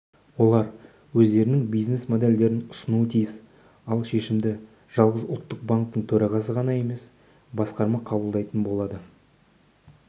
олар өздерінің бизнес-модельдерін ұсынуы тиіс ал шешімді жалғыз ұлттық банктің төрағасы ғана емес басқарма қабылдайтын болады